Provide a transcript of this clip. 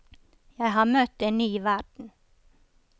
Jeg har møtt en ny verden.